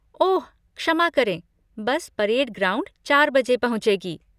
ओह, क्षमा करें, bus parade ground चार बजे पहुंचेगी।